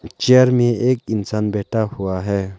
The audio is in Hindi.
चेयर में एक इंसान बैठा हुआ है।